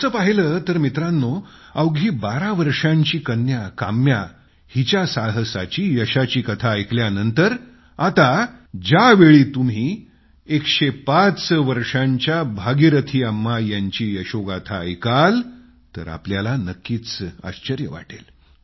तसं पाहिलं तर मित्रांनो अवघी बारा वर्षांची कन्या काम्या हिच्या साहसाची यशाची कथा ऐकल्यानंतर आता ज्यावेळी तुम्ही 105 वर्षांच्या भागीरथी अम्मा यांची यशोगाथा ऐकाल तर तुम्हाला नक्कीच नवल वाटेल